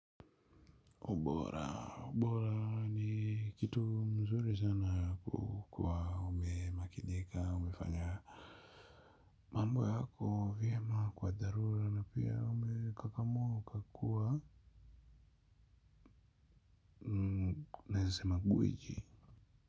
Ubora ubora ni kitu mzuri sana kukuwa umemakinika umefanya mambo yako vyema kwa dharura na pia umekakamua ukakuwa maisha magwiji.